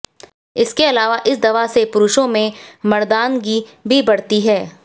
इसके अलावा इस दवा से पुरुषो में मर्दानगी भी बढ़ती है